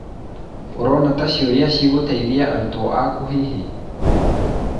ũrona ta ciũria cigũteithia arutwo aaku hihi?